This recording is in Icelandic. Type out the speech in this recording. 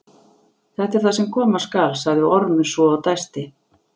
Þetta er það sem koma skal, sagði Ormur svo og dæsti.